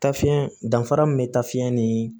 Tafiɲɛ danfara min be tafe ni